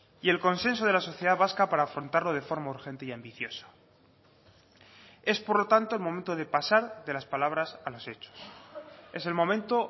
y el consenso de la sociedad vasca para afrontarlo de forma urgente y ambicioso es por lo tanto el momento de pasar de las palabras a los hechos es el momento